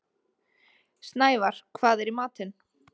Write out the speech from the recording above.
Snævarr, hvað er í matinn?